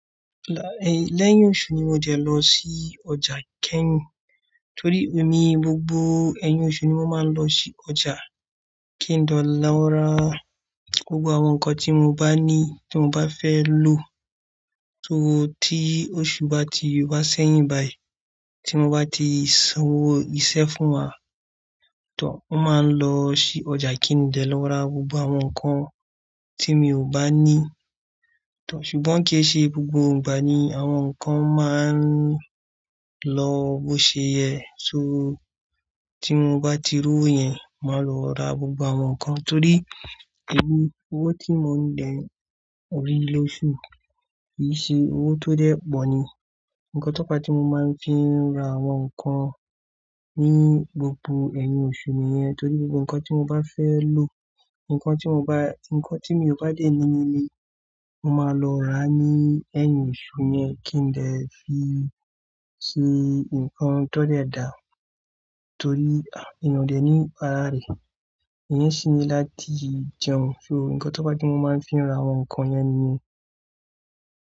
Láì, lẹ́yìn oṣù ni mò de lọ sí ọjà kẹ́yìn. Torí èmi gbogbo ẹyin oṣù ni mo máa ń lọ sí ọjà ki de lọ ra gbogbo àwọn nǹkan tí mo bá fẹ́ lò. So tí oṣù bá ti wá sẹ́yìn báyìí, tí mo bá ti sanwó iṣẹ́ fún wa, mo máa ń lọ sí ọjà ki n de lọ ra gbogbo àwọn nǹkan tí mi ò bá ní. Ṣùgbọ́n kì e ṣe gbogbo ìgbà ni àwọn nǹkan máa ń lọ bó ṣe yẹ. So tí mo bá ti rówó yẹn, màá lọ ra gbogbo àwọn nǹkan torí èmi owó tí mò ń dee ri lóṣù kì í ṣe owó tó dẹ́ẹ̀pọ̀ ni. Nǹkan tó fà á tí mo máa ń fi ra àwọn nǹkan ni gbogbo ẹyin oṣù nìyẹn torí gbogbo nǹkan tí mo bá fẹ́ lò, nǹkan tí mi ò bá dé ní ní ilé, mo máa lọ ra ní ẹyin oṣù yẹn kí n dee fi ṣe nǹkan tó dẹ́ẹ̀ dá torí, èèyàn ò dé ní para rẹ̀. Ìyẹn sì ni láti jẹun. So nǹkan tó fàá tí mo máa ń fi ra àwọn nǹkan niyẹn.